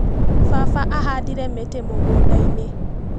Baba ahandire mĩtĩ mũgundainĩ.